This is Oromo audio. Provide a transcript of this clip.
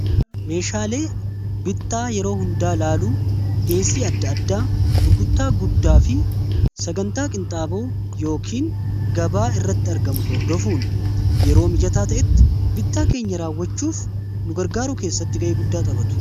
Meeshaalee bittaa yeroo hundaa ilaaluu, dhiyesii adda addaa gurguttaa guddaa fi sagantaa qinxaaboo yookiin gabaa irratti argamu hordofuun yeroo mijataa ta'etti bittaa keenya raawwachuuf nugargaaruu keessatti ga'ee guddaa taphatu.